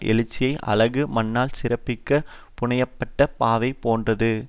எழுச்சியான அழகு மண்ணால் சிறப்பாக புனைய பட்ட பாவை போன்றது